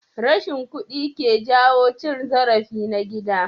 Rashin kuɗi ke jawo cin zarafi na gida.